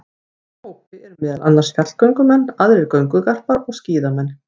Í þessum hópi eru meðal annars fjallgöngumenn, aðrir göngugarpar og skíðamenn.